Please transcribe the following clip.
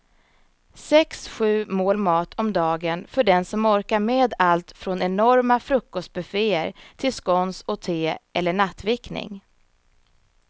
Sex, sju mål mat om dagen för den som orkar med allt från enorma frukostbufféer till scones och te eller nattvickning.